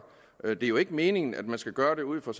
er jo ikke meningen at man skal gøre det ud fra